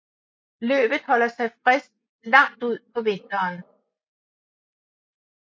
Løvet holder sig frisk langt ud på vinteren